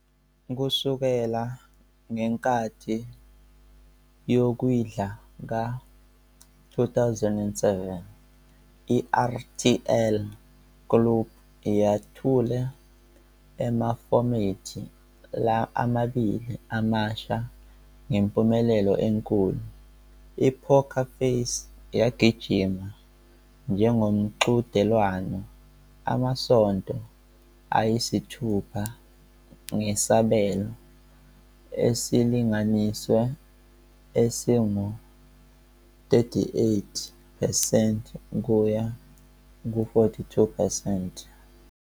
Kusukela ngenkathi yokwindla ka-2007, i-RTL Klub yethule amafomethi amabili amasha ngempumelelo enkulu. I-Poker Face yagijima njengomqhudelwano amasonto ayisithupha ngesabelo esilinganiselwe esingu-38 percent ukuya ku-42 percent.